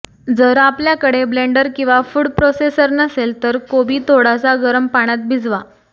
जर आपल्याकडे ब्लेंडर किंवा फूड प्रोसेसर नसेल तर कोबी थोडासा गरम पाण्यात भिजवा